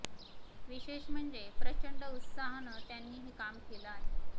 विशेष म्हणजे प्रचंड उत्साहानं त्यांनी हे काम केलं आहे